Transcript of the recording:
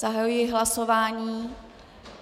Zahajuji hlasování.